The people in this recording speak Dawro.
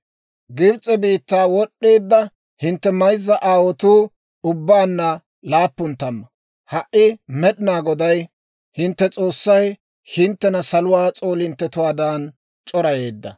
Gibs'e biittaa wod'd'eedda hintte mayzza aawotuu ubbaanna laappun tamma; ha"i Med'inaa Goday hintte S'oossay hinttena saluwaa s'oolinttetuwaadan c'orayeedda.